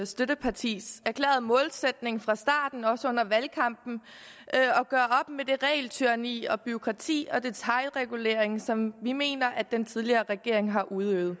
støttepartis erklærede målsætning fra starten og også under valgkampen at med det regeltyranni og bureaukrati og den detailregulering som vi mener at den tidligere regering har udøvet